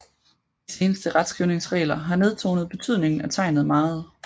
De seneste retskrivningsregler har nedtonet betydningen af tegnet meget